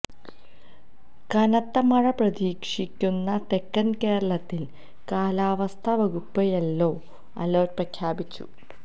കനത്ത മഴ പ്രതീക്ഷിക്കുന്ന തെക്കൻ കേരളത്തിൽ കാലാവസ്ഥ വകുപ്പ് യെല്ലോ അലർട്ട് പ്രഖ്യാപിച്ചു